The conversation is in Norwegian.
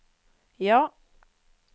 ja